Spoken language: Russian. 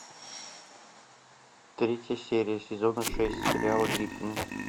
третья серия сезона шесть сериала гриффины